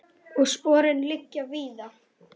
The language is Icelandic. Og sporin liggja víða.